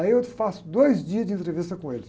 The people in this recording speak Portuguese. Aí eu faço dois dias de entrevista com ele.